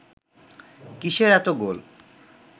কিসের এত গোল